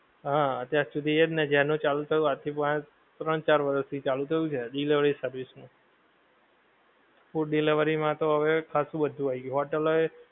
હા અતિયાર શુધી એજ ને જ્યાં નું ચાલુ થયું આજ થી ત્રણ ચાર વરસ થી ચાલું થયું છે delivery service ની food delivery માં તો હવે ખાશું બધું આઈ ગયું hotel ઓ એ